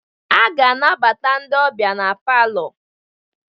A ga-anabata ndị ọbịa n'palọ